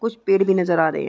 कुछ पेड़ भी नज़र आ रहे है।